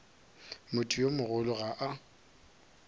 motho yo mogolo ga a